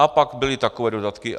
A pak byly takové dodatky.